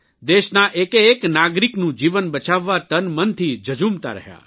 દેશના એકેએક નાગરિકનું જીવન બચાવવા તનમનથી ઝઝૂમતા રહ્યા